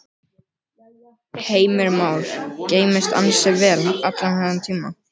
Heimir Már: Geymst ansi vel allan þennan tíma?